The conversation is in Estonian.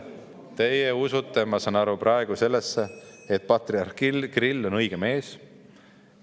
Teie usute, ma saan aru, praegu sellesse, et patriarh Kirill on õige mees.